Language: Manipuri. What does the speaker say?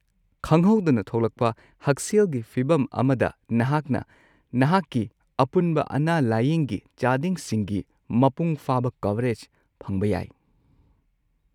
ꯈꯪꯍꯧꯗꯅ ꯊꯣꯛꯂꯛꯄ ꯍꯛꯁꯦꯜꯒꯤ ꯐꯤꯕꯝ ꯑꯃꯗ, ꯅꯍꯥꯛꯅ ꯅꯍꯥꯛꯀꯤ ꯑꯄꯨꯟꯕ ꯑꯅꯥ-ꯂꯥꯌꯦꯡꯒꯤ ꯆꯥꯗꯤꯡꯁꯤꯡꯒꯤ ꯃꯄꯨꯡ ꯐꯥꯕ ꯀꯚꯔꯦꯖ ꯐꯪꯕ ꯌꯥꯏ꯫